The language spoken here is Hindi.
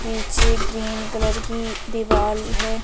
पीछे ग्रीन कलर की दीवाल है।